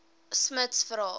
smuts vra